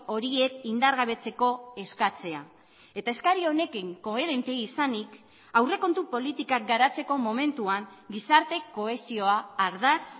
horiek indargabetzeko eskatzea eta eskari honekin koherente izanik aurrekontu politikak garatzeko momentuan gizarte kohesioa ardatz